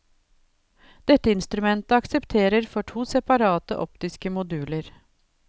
Dette instrumentet aksepterer for to separate optiske moduler.